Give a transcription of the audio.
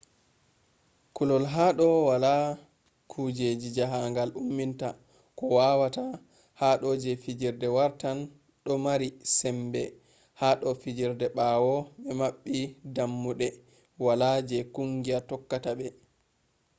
kullol ha do wala kujeji jaahangal ummini ko wawata ha do je fijirde wartan do mari sembe ha do fijirde ɓawo be maɓɓi dammuɗe wala je kungiya tokkata ɓe